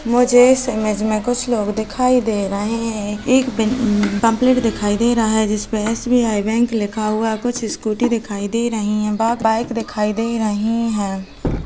मुझे इस इमेज में कुछ लोग दिखाई दे रहे है एक बे पम्पलेट दिखाई दे रहा है जिसमें एस_बी_आई बैंक लिखा हुआ है कुछ स्कूटी दिखाई से रही है ब बाइ दिखाई दे रही हैं।